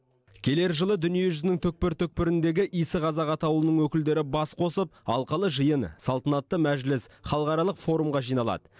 келер жылы дүние жүзінің түкпір түкпіріндегі иісі қазақ атаулының өкілдері бас қосып алқалы жиын салтанатты мәжіліс халықаралық форумға жиналады